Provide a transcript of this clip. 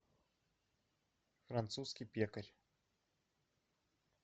французский пекарь